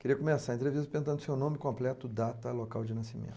Queria começar a entrevista perguntando o seu nome completo, data, local de nascimento.